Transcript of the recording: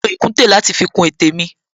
Mo lo ìkùntè láti fi kun etè mi